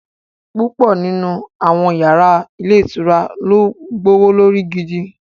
Púpọ̀ nínú àwọn yàrá ilé ìtura ló gbówó lórí gidi